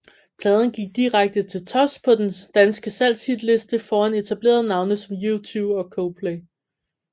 Pladen gik direkte til tops på den danske salgshitliste foran etablerede navne som U2 og Coldplay